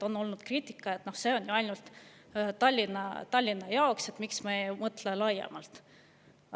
On olnud kriitikat, et see on ju ainult Tallinna jaoks, miks me ei mõtle laiemalt.